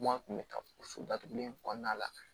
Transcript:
Kuma tun bɛ taa o so datugulen kɔnɔna la